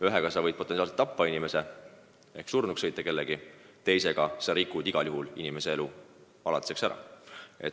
Ühega võid kellegi tappa, sõites ta surnuks, teisega rikud igal juhul inimese elu alatiseks ära.